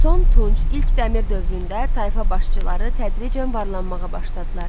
Son Tunc, ilk Dəmir dövründə tayfa başçıları tədricən varlanmağa başladılar.